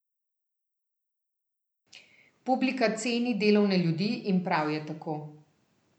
Publika ceni delovne ljudi in prav je tako.